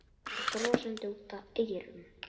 Hann sá að Dalamenn voru vopnaðir bareflum og öxum.